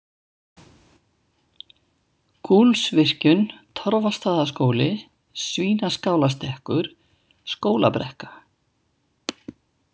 Gúlsvirkjun, Torfastaðaskóli, Svínaskálastekkur, Skólabrekka